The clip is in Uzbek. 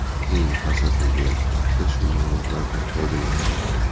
Keyin fasadni bo‘yash vaqtida shu ma’lumotlardan foydalangan.